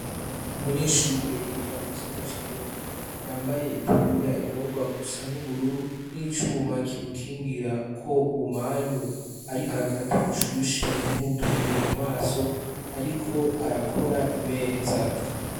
Umunyeshure yiga mu gisata c'imyuga, yambaye itaburiya igomba gusa n'ubururu n'icuma kimukingira ko ubumanyu ariko arakata bushushe ntibumuturire mu maso. Ariko arakora imeza.